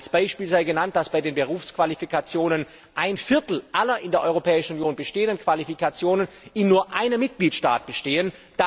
Als Beispiel sei genannt, dass bei den Berufsqualifikationen ein Viertel aller in der Europäischen Union bestehenden Qualifikationen in nur einem Mitgliedstaat bestehen.